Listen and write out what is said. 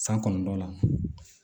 San kɔnɔntɔ la